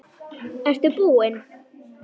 Ertu búinn?